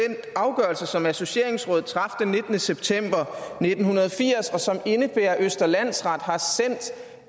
afgørelse som associeringsrådet traf den nittende september nitten firs og som indebærer at østre landsret har sendt